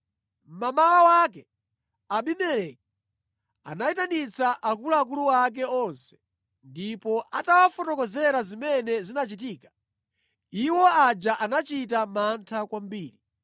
Mmamawa mwake Abimeleki anayitanitsa akuluakulu ake onse, ndipo atawafotokozera zimene zinachitika, iwo aja anachita mantha kwambiri.